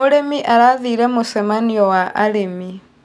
Mũrĩmi arathire mũcemanio wa arĩmi.